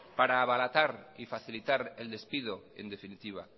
para abaratar y facilitar el despido en definitiva